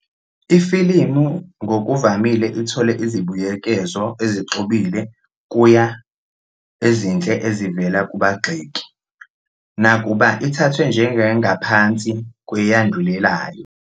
Ifilimu ngokuvamile ithole izibuyekezo ezixubile kuya ezinhle ezivela kubagxeki, nakuba ithathwe njengengaphansi kweyandulelayo.